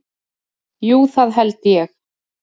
Jú, það held ég